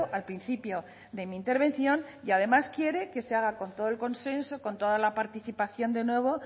al principio de mi intervención y además quiere que se haga con todo el consenso con toda la participación de nuevo